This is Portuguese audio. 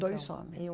Dois homens. E um